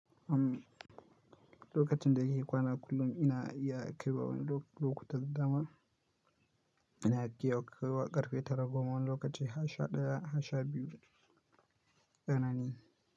Amm, lokacin da yake kwana kullum ina iya kaiwa wani lokuta da dama. Ina iya kaiwa ƙarfe tara goma wani lokaci 11:00, 12:00 tsanani.